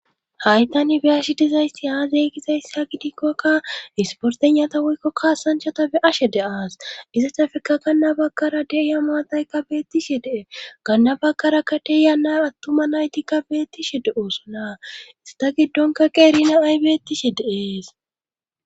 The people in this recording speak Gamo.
haytani be'ash dizayssi aazey gizayssi ha gidikkokka isportenata woykko kaasanchata beashe de aas izatafekka kanna bakara deya maataykka beettishe de7e kanna bakarakka deeyana attuma naytikka beettishe de oosona ista giddonka qeerina aybettishe de'ees